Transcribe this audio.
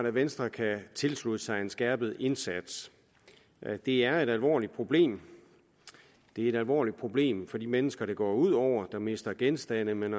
at venstre kan tilslutte sig en skærpet indsats det er et alvorligt problem det er et alvorligt problem for de mennesker det går ud over de mister genstande men